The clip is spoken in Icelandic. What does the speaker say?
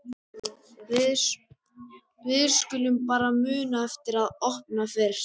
Við skulum bara muna eftir að opna hann fyrst!